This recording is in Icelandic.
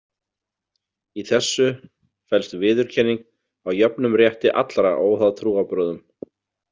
Í þessu felst viðurkenning á jöfnum rétti allra óháð trúarbrögðum.